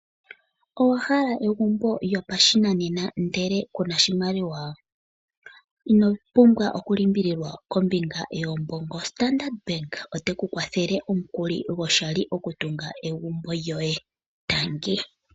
Owahala egumbo lyopashinanena ndele ku na oshimaliwa? Ino pumbwa okulimbililwa kombinga yiisimpo, Standard bank oteku kwathele omukuli gwoshali okutunga egumbo lyoye, tangi.